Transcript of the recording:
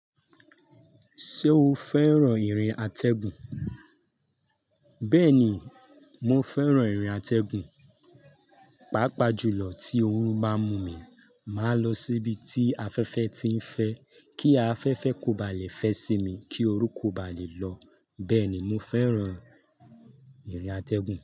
Ṣé o fẹ́ràn ìrìn àtẹ́gùn? Bẹ́ẹ̀ni, mo fẹ́ràn ìrìn àtẹ́gùn. Pàápàá jùlọ tí òórùn bá mú mi, màá lọ síbi tí afẹ́fẹ́ ti ń fẹ́ kí afẹ́fẹ́ kò bá lè fẹ́ sí mi, kí orú kò bá lè lọ. Bẹ́ẹ̀ni, mo fẹ́ràn ìrìn àtẹ́gùn.